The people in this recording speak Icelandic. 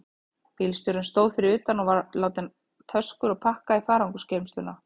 Bílstjórinn stóð fyrir utan og var að láta töskur og pakka í farangursgeymsluna.